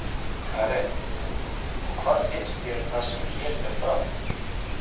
Karen: Og hvað finnst þér um það sem hér fer fram?